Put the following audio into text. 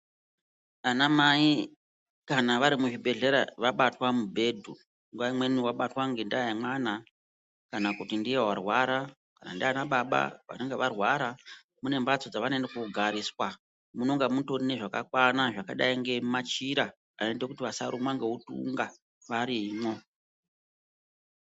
Vanamai kanavari muzvibhedhlera vabatwa mubhedhu, nguva imweni vabatwa ngendaa yemwana kana kuti ndiye warwara, ndianababa vanenge varwara, mune mhatso dzevanoende kogariswa, munonga mutori nezvakakwana zvinodai ngemachira anoita kuti vasarumwa ngeutunga varimo.